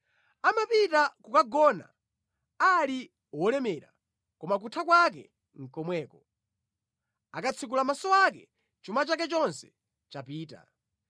Amapita kokagona ali wolemera koma kutha kwake nʼkomweko; akatsekula maso ake, chuma chake chonse chapita.